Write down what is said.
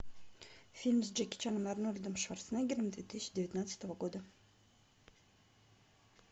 фильм с джеки чаном и арнольдом шварценеггером две тысячи девятнадцатого года